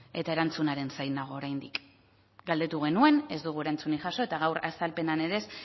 eta erantzunaren zain nago oraindik galdetu genuen ez dugu erantzunik jaso eta gaur azalpenean ere